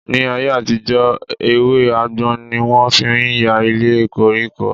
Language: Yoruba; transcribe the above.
Ní ayé-àtijọ, ewé àgbọn ni wọ́n fi ń ya ilé koríko.